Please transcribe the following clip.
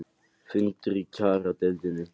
Fundur í kjaradeilunni